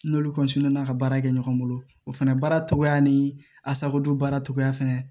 N'olu ka baara kɛ ɲɔgɔn bolo o fɛnɛ baara cogoya ni asakodon baara cogoya fɛnɛ